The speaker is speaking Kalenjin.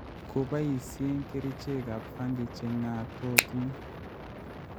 koboisyee kerichekap fangi che ng'atootin